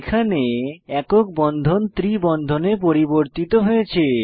এখানে একক বন্ধনকে ত্রি বন্ধনে পরিবর্তিত হয়েছে